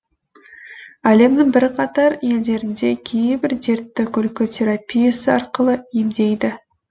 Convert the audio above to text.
әлемнің бірқатар елдерінде кейбір дертті күлкі терапиясы арқылы емдейді